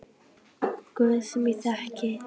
Guð sem ég þekki ekki.